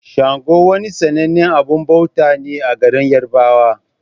Sango wani sannanen abun bauta ne a garin yarbawa.